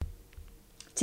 TV 2